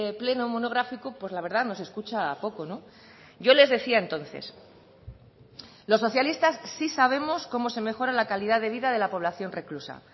pleno monográfico pues la verdad nos escucha poco yo les decía entonces los socialistas sí sabemos cómo se mejora la calidad de vida de la población reclusa